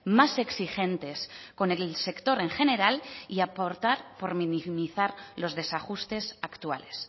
más exigentes con el sector en general y apostar por minimizar los desajustes actuales